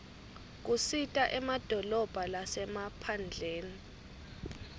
kisita emadolobha lasemaphndleni